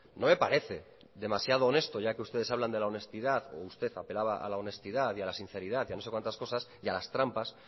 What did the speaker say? no me parece demasiado honesto ya que ustedes hablan de la honestidad o usted apelaba a la honestidad y a la sinceridad y a no sé cuántas cosas y a las trampas